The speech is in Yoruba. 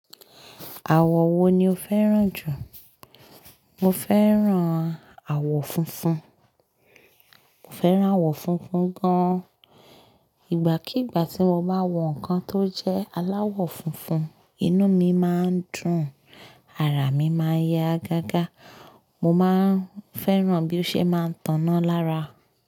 Àwọ̀ wo ni o fẹ́ràn jù? Mo fẹ́ràn àwọ̀ funfun. Mo fẹ́ràn àwọ̀ funfun gan. Ìgbàkígbà tí mo bá wọ nǹkan tó jẹ́ aláwọ̀ funfun, inú mi máa ń dùn, ara mi máa ń yá gágá, mo máà ń fẹ́ràn bí ó ṣe máa ń taná lára.